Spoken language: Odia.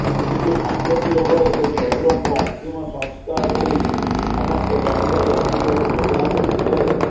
କିନ୍ତୁ ସମ୍ପତ୍ତି ଲୋଭରେ ସେ ଶ୍ୱଶୁରଙ୍କ ଅନ୍ତିମ ସଂସ୍କାର କରି ସମସ୍ତ ଜମିବାଡ଼ି ହାତେଇବାକୁ ଯୋଜନା କରିଥିଲେ